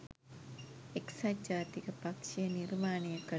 එක්සත් ජාතික පක්ෂය නිර්මාණය කළ